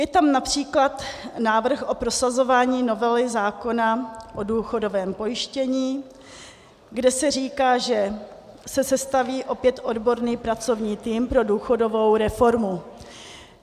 Je tam například návrh o prosazování novely zákona o důchodovém pojištění, kde se říká, že se sestaví opět odborný pracovní tým pro důchodovou reformu.